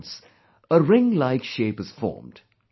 Hence, a ringlike shape is formed